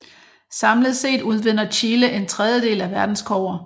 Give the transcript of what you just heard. Samlet set udvinder Chile en tredjedel af verdens kobber